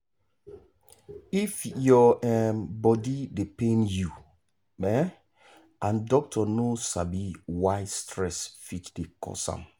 if your um body dey pain you um and doctor no sabi why stress fit dey cause am.